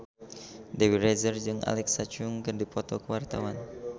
Dewi Rezer jeung Alexa Chung keur dipoto ku wartawan